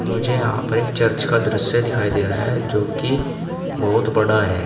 मुझे यहां पर एक चर्च का दृश्य दिखाई दे रहा है जो की बहुत बड़ा है।